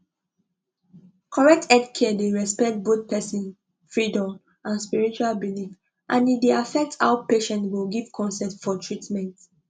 correct healthcare dey respect both person freedom and spiritual belief and e dey affect how patient take give consent for treatment